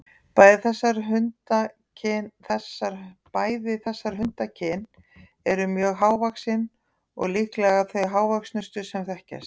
Bæði þessar hundakyn eru mjög hávaxin og líklega þau hávöxnustu sem þekkjast.